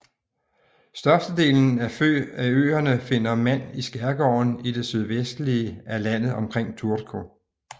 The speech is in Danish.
Størstedelen af øerne finder mand i skærgården i det sydvestlige af landet omkring Turku